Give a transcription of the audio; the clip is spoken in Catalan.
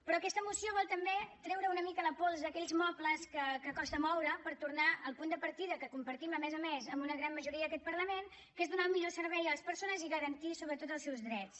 però aquesta moció vol també treure una mica la pols a aquells mobles que costen de moure per tornar al punt de partida que compartim a més a més amb una gran majoria en aquest parlament que és donar el millor servei a les persones i garantir sobretot els seus drets